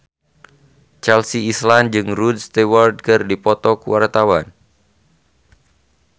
Chelsea Islan jeung Rod Stewart keur dipoto ku wartawan